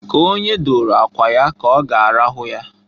K'onye dooro akwa ya k'ọga arahụ ya.